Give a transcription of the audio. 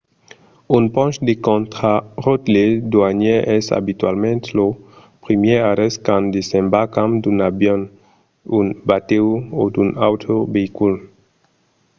un ponch de contraròtle doanièr es abitualament lo primièr arrèst quand desembarcam d’un avion un batèu o d’un autre veicul